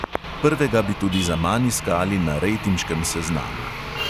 Prvega bi tudi zaman iskali na rejtinškem seznamu.